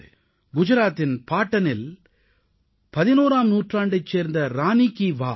குஜராத்தின் பாடனில் 11ஆம் நூற்றாண்டைச் சேர்ந்த ரானீ கீ வாவ்